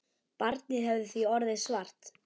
Barnið hefði því orðið svart.